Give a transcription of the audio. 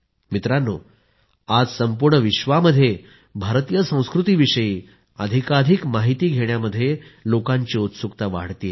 मित्रांनो आज संपूर्ण विश्वामध्ये भारतीय संस्कृतीविषयी अधिकाधिक माहिती घेण्यामध्ये लोकांची उत्सुकता वाढतेय